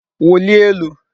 Wulie elu.